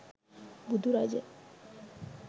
බුදු රජ